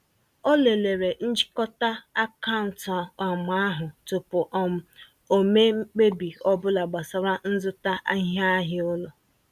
Ọ lelere nchịkọta akaụntụ um ahụ tụpụ um o mee mkpebi ọbụla gbasara nzụta iheahịa ụlọ.